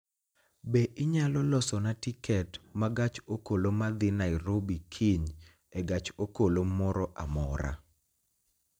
Be inyalo losona tiket ma gach okoloma dhi Nairobi kiny e gach okolomoro amora